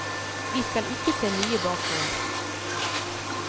Vi skal ikke se mye bakover.